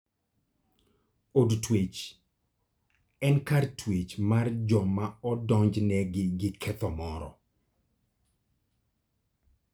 Od twech en kar twech mar joma odonjnegi gi ketho moro.